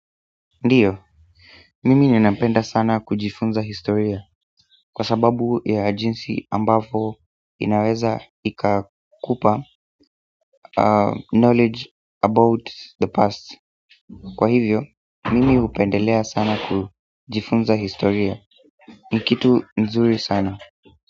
Ndiyo mimi ninapenda sana kujifunza historia. Kwa sababu ya jinsi ambavyo inaweza ikakupa knowledge about the past kwa hivyo, mimi hupendelea sana kujifunza historia, ni kitu nzuri sana.